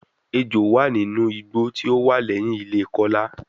Ejo wa ninu igbo ti o wa lẹhin ile Kola